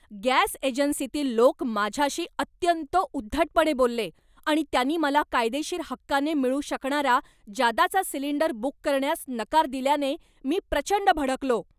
Gas एजन्सीतील लोक माझ्याशी अत्यंत उद्धटपणे बोलले आणि त्यांनी मला कायदेशीर हक्काने मिळू शकणारा जादाचा सिलिंडर बुक करण्यास नकार दिल्याने मी प्रचंड भडकलो.